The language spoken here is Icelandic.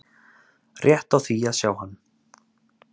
rétt á því að sjá hann